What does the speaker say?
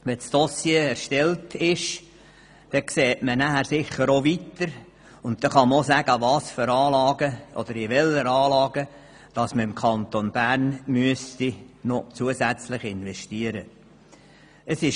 Wenn das Dossier erstellt ist, sieht man sicher weiter und kann sagen, in welche Anlagen der Kanton Bern noch zusätzlich investieren müsste.